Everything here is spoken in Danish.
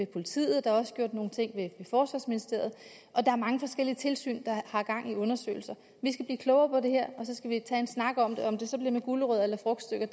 politiet og der er også gjort nogle ting i forsvarsministeriet og der er mange forskellige tilsyn der har gang i undersøgelser vi skal blive klogere på her og så skal vi tage en snak om det om det så bliver med gulerødder eller frugtstykker